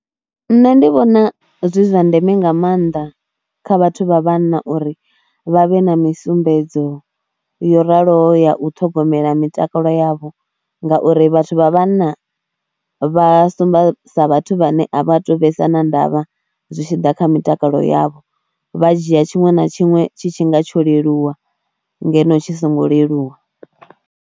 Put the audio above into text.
Nṋe ndi vhona zwi zwa ndeme nga maanḓa kha vhathu vha vhanna uri vha vhe na misumbedzo yo raloho ya u ṱhogomela mitakalo yavho ngauri vhathu vha vhanna vha sumba sa vhathu vhane a vha tu vhesa na ndavha zwi tshi ḓa kha mitakalo yavho. Vha dzhia tshiṅwe na tshiṅwe tshi tshi nga tsho leluwa ngeno tshi songo leluwa.